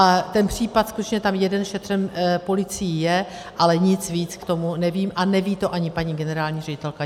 A ten případ skutečně tam jeden šetřen policií je, ale nic víc k tomu nevím a neví to ani paní generální ředitelka.